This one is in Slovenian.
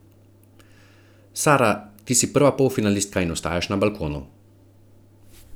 Sara ti si prva polfinalistka in ostajaš na balkonu.